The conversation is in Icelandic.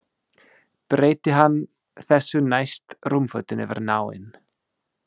Breiddi hann þessu næst rúmfötin yfir náinn.